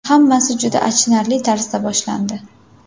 Hammasi juda achinarli tarzda boshlandi.